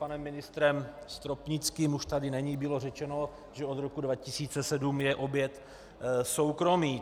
Panem ministrem Stropnickým - už tady není - bylo řečeno, že od roku 2007 je objekt soukromý.